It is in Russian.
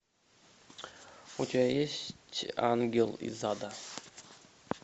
у тебя есть ангел из ада